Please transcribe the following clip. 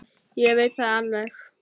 Ég veit það alveg.